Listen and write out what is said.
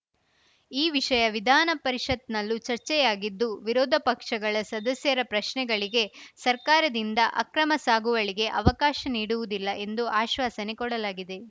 ಈ ವಿಷಯ ವಿಧಾನ ಪರಿಷತ್‌ನಲ್ಲೂ ಚರ್ಚೆಯಾಗಿದ್ದು ವಿರೋಧಪಕ್ಷಗಳ ಸದಸ್ಯರ ಪ್ರಶ್ನೆಗಳಿಗೆ ಸರ್ಕಾರದಿಂದ ಅಕ್ರಮ ಸಾಗುವಳಿಗೆ ಅವಕಾಶ ನೀಡುವುದಿಲ್ಲ ಎಂದು ಆಶ್ವಾಸನೆ ಕೊಡಲಾಗಿದೆ